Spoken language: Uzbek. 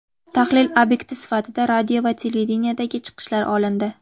Tahlil obyekti sifatida radio va televideniyedagi chiqishlar olindi.